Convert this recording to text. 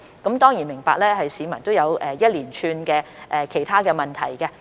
我當然明白市民會有一連串其他問題。